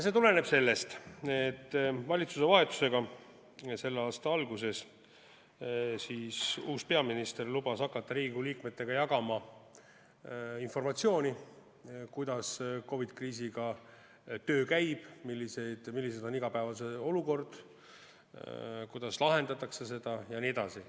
See tuleneb sellest, et valitsuse vahetusega selle aasta alguses lubas uus peaminister hakata Riigikogu liikmetega jagama informatsiooni, kuidas käib töö COVID-i kriisiga, milline on igapäevane olukord, kuidas seda lahendatakse jne.